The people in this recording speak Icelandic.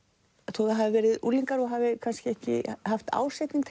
þó það hafi verið unglingar og hafi kannski ekki haft ásetning